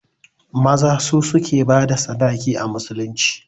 Maza su suke bada sadaki a musulunci